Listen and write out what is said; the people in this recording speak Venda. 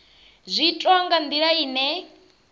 zwi itwa nga ndila ine